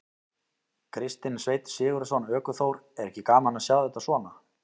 Kristinn Sveinn Sigurðsson, ökuþór: Er ekki gaman að sjá þetta svona?